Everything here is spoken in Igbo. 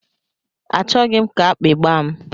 A chọghị m ka akpi gbaa m.